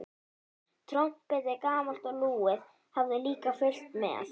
Trompetið, gamalt og lúið, hafði líka fylgt með.